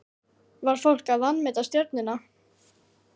Var fólk að vanmeta Stjörnuna?